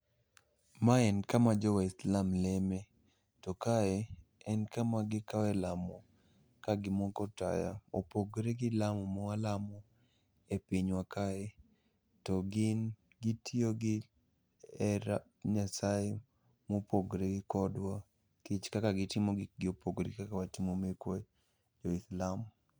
Ma en kama jo Waislam leme. To kae en kama gikawe lamo kagimoko taya, opogre gi lamo mwalamo e pinywa kae. To gin gitiyo gi hera nyasaye mopogre kodwa, kech kaka gitimo gikgi opogre gi kaka watimo mekwa e lam.